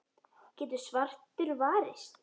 getur svartur varist.